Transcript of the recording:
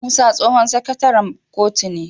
Musa tsohon sakataren kotun ne